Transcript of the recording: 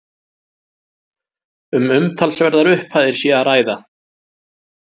Um umtalsverðar upphæðir sé að ræða